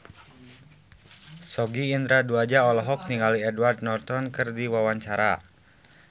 Sogi Indra Duaja olohok ningali Edward Norton keur diwawancara